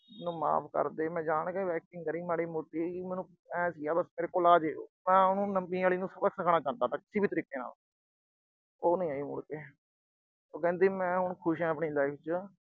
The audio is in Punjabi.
ਮੈਨੂੰ ਮਾਫ ਕਰ ਦੇ। ਮੈਂ ਜਾਣ ਕੇ acting ਕਰੀ ਮਾੜੀ ਮੋਟੀ। ਮੈਨੂੰ ਆਏ ਸੀਗਾ ਬਸ ਮੇਰੇ ਕੋਲ ਆ ਜੇ ਉਹ। ਮੈਂ ਉਹਨੂੰ ਨਵੀਂ ਆਲੀ ਨੂੰ ਸਬਕ ਸਿਖਾਉਣਾ ਚਾਹੁੰਦਾ ਸੀ, ਕਿਸੇ ਵੀ ਤਰੀਕੇ ਨਾਲ। ਉਹ ਨੀ ਆਈ ਮੁੜ ਕੇ। ਉਹ ਕਹਿੰਦੀ ਮੈਂ ਹੁਣ ਖੁਸ਼ ਆ ਆਪਣੀ life ਚ।